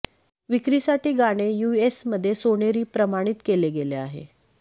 विक्रीसाठी विक्रीसाठी गाणे यूएस मध्ये सोनेरी प्रमाणित केले गेले आहे